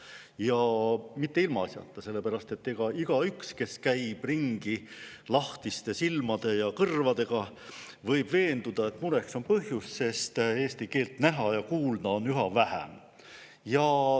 Ja mitte ilmaasjata, sellepärast et igaüks, kes käib ringi lahtiste silmade ja kõrvadega, võib veenduda, et mureks on põhjust, sest eesti keelt näha ja kuulda on üha vähem.